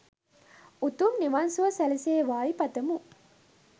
උතුම් නිවන් සුව සැලසේවායි පතමු.